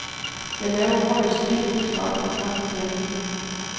Jeg laver højst et frispark i en kamp, hvis jeg er heldig.